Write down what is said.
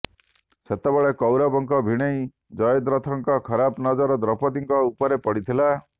ସେତେବେଳେ କୌରବଙ୍କ ଭିଣୋଇ ଜୟଦ୍ରଥଙ୍କର ଖରାପ ନଜର ଦ୍ରୌପଦୀଙ୍କ ଉପରେ ପଡ଼ିଥିଲା